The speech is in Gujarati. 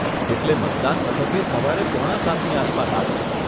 એટલે મતદાન મથકે સવારે પોણા સાતની આસપાસ આવી જાવ.